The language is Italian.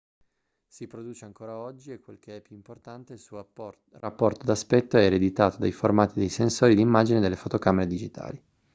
si produce ancora oggi e quel che è più importante il suo rapporto d'aspetto è ereditato dai formati dei sensori d'immagine delle fotocamere digitali